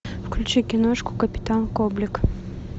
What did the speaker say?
включи киношку капитан коблик